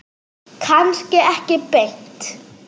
Kannski ekki beint.